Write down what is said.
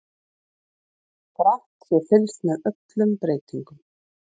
Grannt sé fylgst með öllum breytingum